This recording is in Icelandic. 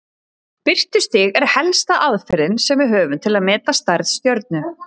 Birtustig er helsta aðferðin sem við höfum til að meta stærð stjörnu.